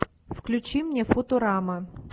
включи мне футурама